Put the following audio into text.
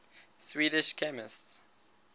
swedish chemists